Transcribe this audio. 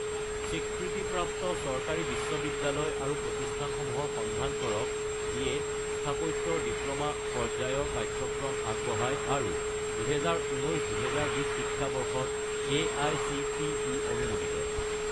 স্বীকৃতিপ্ৰাপ্ত চৰকাৰী বিশ্ববিদ্যালয় প্ৰতিষ্ঠানসমূহৰ সন্ধান কৰক যিয়ে স্থাপত্য ৰ ডিপ্ল'মা পৰ্যায়ৰ পাঠ্যক্ৰম আগবঢ়ায় আৰু 2019 - 2020 শিক্ষাবৰ্ষত এআইচিটিই অনুমোদিত